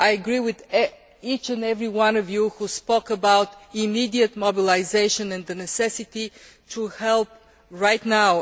I agree with each and every one of you who spoke about immediate mobilisation and the need to help right now.